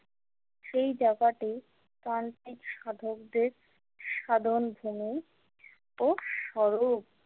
সেই জায়গাটি তান্ত্রিক সাধকদের সাধন ভূমি ও স্বরূপ।